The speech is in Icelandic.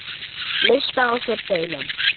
Ber það á sér delinn.